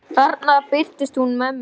Þarna birtist hún mér.